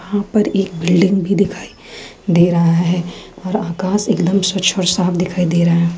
यहां पर एक बिल्डिंग भी दिखाई दे रहा है और आकाश एकदम स्वच्छ और साफ दिखाई दे रहा है।